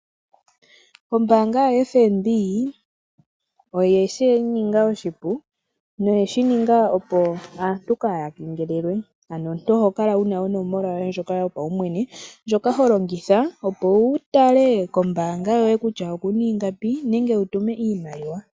Ombaanga yo-FNB, oyeshininga oshipu opo aantu kaayakengelelwe. Omuntu ohokala wuna onomola yoye ndjoka yopaumwene, ndjoka holongitha opo wutale kutya kombaanga yoye okuna ingapi nenge wutume oshimaliwa.